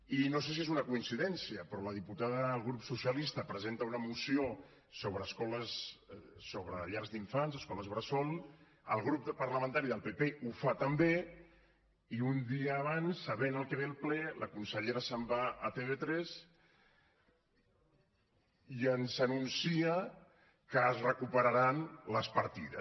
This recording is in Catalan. i no sé si és una coincidència però la diputada del grup socialista presenta una moció sobre llars d’infants escoles bressol el grup parlamentari del pp ho fa també i un dia abans sabent el que ve al ple la consellera se’n va a tv3 i ens anuncia que es recuperaran les partides